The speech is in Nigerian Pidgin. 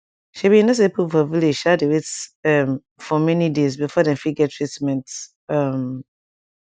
shebi you know say pipo for village um dey wait um for many days before dem fit get treatment um